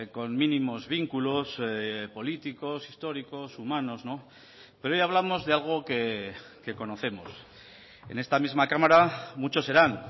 con mínimos vínculos políticos históricos humanos pero hoy hablamos de algo que conocemos en esta misma cámara muchos serán